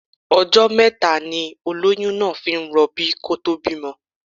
Ọjọ́ mẹ́ta ni olóyún náà fi ń rọbí kó tó bímọ.